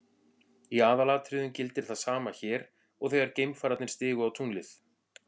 Í aðalatriðum gildir það sama hér og þegar geimfararnir stigu á tunglið.